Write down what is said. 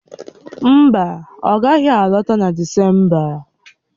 Mba, ọ gaghị alọta na Disemba